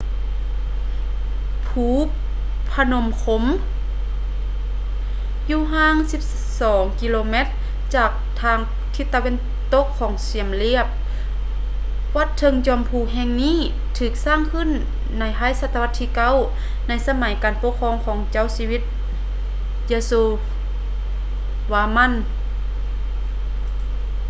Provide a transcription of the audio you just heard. ພູ ພະນົມ ຄຼົມ phnom krom ຢູ່ຫ່າງ 12 ກມ ຈາກທາງທິດຕາເວັນຕົກຂອງ ຊຽມຣຽບ. ວັດເທິງຈອມພູແຫ່ງນີ້ ຖືກສ້າງຂຶ້ນໃນທ້າຍສະຕະວັດທີ 9 ໃນສະໄໝການປົກຄອງຂອງເຈົ້າຊີວິດ ຢາໂຊວາມັນ yasovarman